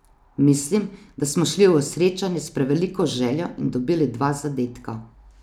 Mislim, da smo šli v srečanje s preveliko željo in dobili dva zadetka.